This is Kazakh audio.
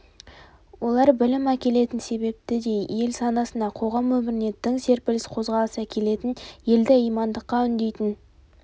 олар білім әкелетін себепті де ел санасына қоғам өміріне тың серпіліс қозғалыс әкелетін елді имандылыққа үндейтін